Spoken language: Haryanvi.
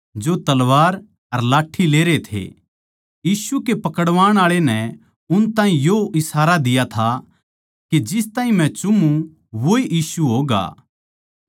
यीशु कै पकड़वाण आळे नै उन ताहीं यो इशारा दिया था के जिस ताहीं मै चुमूँ वोए यीशु होगा उस ताहीं पकड़कै सावधानी ले जाणा